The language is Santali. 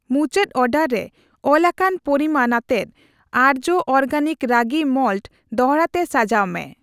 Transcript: ᱢᱩᱪᱟᱹᱫ ᱚᱨᱰᱟᱨ ᱨᱮ ᱚᱞᱟᱠᱟᱱ ᱯᱚᱨᱤᱢᱟᱱ ᱟᱛᱮᱫ ᱟᱨᱡᱚ ᱚᱨᱜᱮᱱᱤᱠ ᱨᱟᱜᱤ ᱢᱟᱞᱴ ᱫᱚᱲᱦᱟ ᱛᱮ ᱥᱟᱡᱟᱣ ᱢᱮ ᱾